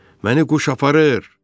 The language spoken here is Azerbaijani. Məni quş aparır!